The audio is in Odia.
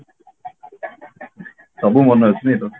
ସବୁ ମନ ଅଛି ନାଇଁ ତୋର